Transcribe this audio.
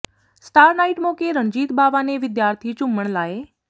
star night ਮੌਕੇ ਰਣਜੀਤ ਬਾਵਾ ਨੇ ਵਿਦਿਆਰਥੀ ਝੂਮਣ ਲਾਏ